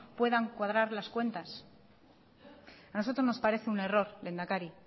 puedan cuadrar las cuentas a nosotros nos parece un error lehendakari